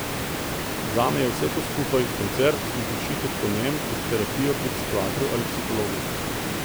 Zame je vse to skupaj, koncert in počitek po njem, kot terapija pri psihiatru ali psihologu.